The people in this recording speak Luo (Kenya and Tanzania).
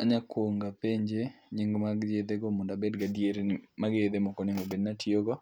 Anyalo kuongo apenje nying mag yedhe go mondo abed gi adieri ni mago e yedhe monego obed ni atiyogo.